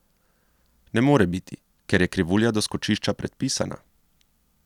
Ne more biti, ker je krivulja doskočišča predpisana.